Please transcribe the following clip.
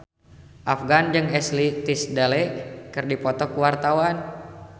Afgan jeung Ashley Tisdale keur dipoto ku wartawan